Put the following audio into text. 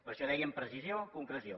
per això dèiem precisió concreció